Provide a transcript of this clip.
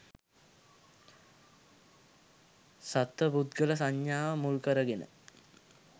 සත්ව පුද්ගල සංඥාව මුල්කරගෙන